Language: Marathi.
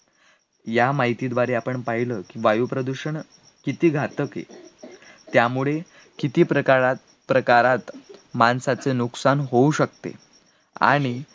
या माहितीद्वारे आपण पाहिलं की वायु प्रदूषण किती घातक आहे, त्यामुळे किती प्रकाळात प्रकारात माणसाचे नुकसान होऊ शकते, आणि,